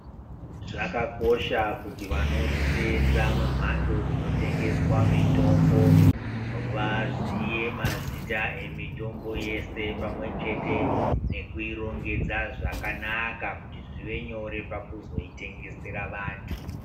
Zvakakosha kuti vanoseenza mumhatso dzinotengeswa mitombo vaziye mazita emitombo yese pamwechete nekuirongedza zvakanaka kuti zvive nyore pakuzoitengesera vantu.